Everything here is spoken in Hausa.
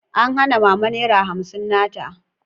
An hana Mama Naira hamsin na ta.